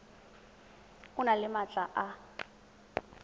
o nne le maatla a